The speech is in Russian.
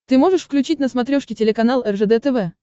ты можешь включить на смотрешке телеканал ржд тв